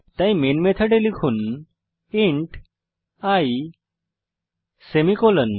তাই মেন মেথডে লিখুন ইন্ট i সেমিকোলন